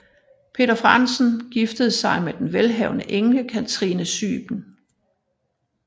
Peder Frandsen giftede sig med den velhavende enke Catrine Syben